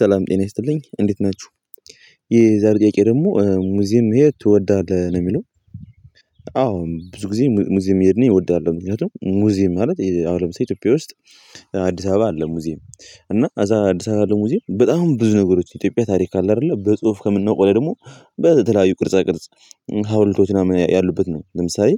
ሰላም ጤና ይስጥልኝ እንዴት ናችሁ የዛሬ ጥያቄ ደግሞ ሙዚየም መሄድ ትወዳለህ ነው የሚለው አዎ ብዙ ጊዜ ሙዚየም መሄድን እወዳለሁ ምክንያቱም ሙዚየም ማለት አሁን ለምሳሌ ኢትዮጵያ ውስጥ አዲስ አበባ አለ ሙዚየም እና እዛ አዲስ አበባ አለ ሙዚየም በጣም ብዙ ነገሮች ኢትዮጵያ ታሪክ አለ አይደለ በጽሁፍ ከምናውቀው በላይ ደግሞ በተለያዩ ቅርጻ ቅርጽ ሀውልቶች ምናምን ያሉበት ነው ለምሳሌ